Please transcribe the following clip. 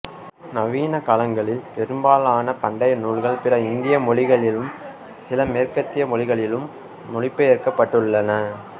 நவீன காலங்களில் பெரும்பாலான பண்டைய நூல்கள் பிற இந்திய மொழிகளிலும் சில மேற்கத்திய மொழிகளிலும் மொழிபெயர்க்கப்பட்டுள்ளன